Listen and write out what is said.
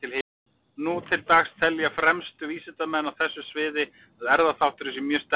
Nú til dags telja fremstu vísindamenn á þessu sviði að erfðaþátturinn sé mjög sterkur.